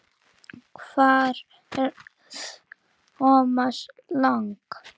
Hvar er Thomas Lang?